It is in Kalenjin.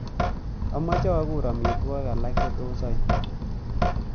Amache aguur amitwogik alak chetos aip